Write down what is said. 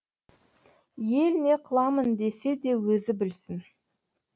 ел не қыламын десе де өзі білсін